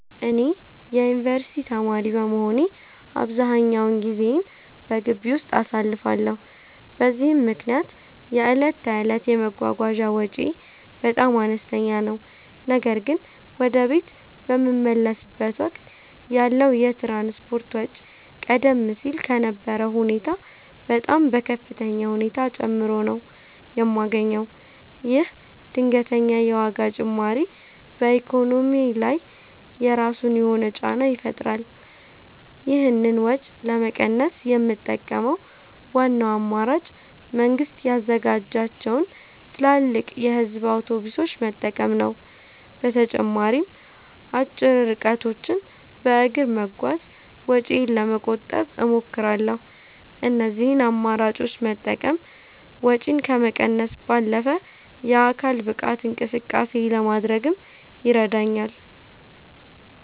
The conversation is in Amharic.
እኔ የዩኒቨርሲቲ ተማሪ በመሆኔ አብዛኛውን ጊዜዬን በግቢ ውስጥ አሳልፋለሁ፤ በዚህም ምክንያት የዕለት ተዕለት የመጓጓዣ ወጪዬ በጣም አነስተኛ ነው። ነገር ግን ወደ ቤት በምመለስበት ወቅት ያለው የትራንስፖርት ወጪ ቀደም ሲል ከነበረው ሁኔታ በጣም በከፍተኛ ሁኔታ ጨምሮ ነው የማገኘው። ይህ ድንገተኛ የዋጋ ጭማሪ በኢኮኖሚዬ ላይ የራሱ የሆነ ጫና ይፈጥራል። ይህንን ወጪ ለመቀነስ የምጠቀመው ዋናው አማራጭ መንግስት ያዘጋጃቸውን ትላልቅ የህዝብ አውቶቡሶች መጠቀም ነው። በተጨማሪም አጭር ርቀቶችን በእግር በመጓዝ ወጪዬን ለመቆጠብ እሞክራለሁ። እነዚህን አማራጮች መጠቀም ወጪን ከመቀነስ ባለፈ የአካል ብቃት እንቅስቃሴ ለማድረግም ይረዳኛል።